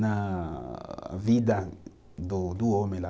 na vida do do homem lá.